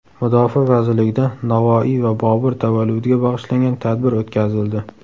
Mudofaa vazirligida Navoiy va Bobur tavalludiga bag‘ishlangan tadbir o‘tkazildi.